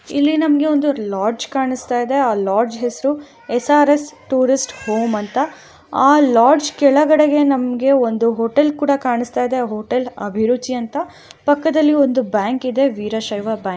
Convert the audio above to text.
ಇಲ್ಲಿ ನಮ್ಮಗೆ ಲಾಡ್ಜ್ ಕಾಣಸ್ತಿದೆ ಲಾಡ್ಜ್ ಹೆಸ್ರು ಎಸ್_ಆರ್_ಎಸ್ ಹೋಮ್ ಅಂತ ಆ ಲಾಡ್ಜ್ ಕೆಳಗಡೆಗೆ ನಮ್ಮಗೆ ಒಂದು ಹೋಟೆಲ್ ಕೂಡ ಕಾಣಸ್ತಾ ಇದೆ ಹೋಟೆಲ್ ಅಭಿರುಚಿ ಅಂತ ಪಕ್ಕದಲಿ ಒಂದು ಬ್ಯಾಂಕ್ ಇದೆ ವೀರಶ್ಯವ ಬ್ಯಾಂಕ ಅಂತ.